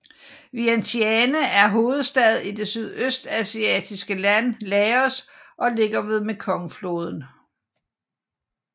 Vientiane er hovedstad i det sydøstasiatiske land Laos og ligger ved Mekongfloden